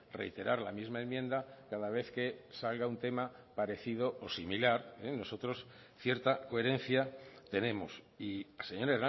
reiterar la misma enmienda cada vez que salga un tema parecido o similar nosotros cierta coherencia tenemos y señor